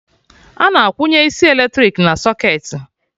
Ana akwụnye isi eletrik na socketị